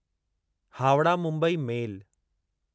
Howrah Mumbai मेल